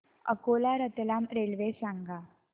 Akola Ratlam railway सांगा